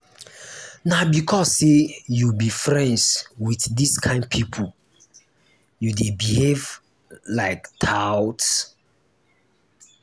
na because sey you be friends wit dis kain pipo you dey behave like tout.